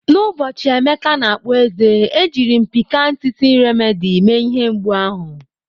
N'ụbọchị Emeka na-akpụ eze, ejiri m Piccan Teething Remedy mee ihe mgbu ahụ.